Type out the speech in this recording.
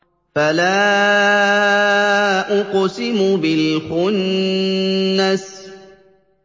فَلَا أُقْسِمُ بِالْخُنَّسِ